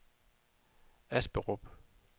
Asperup